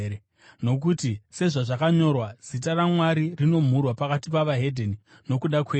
Nokuti, sezvazvakanyorwa: “Zita raMwari rinomhurwa pakati peveDzimwe Ndudzi nokuda kwenyu.”